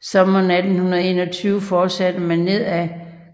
Sommeren 1821 fortsatte man ned ad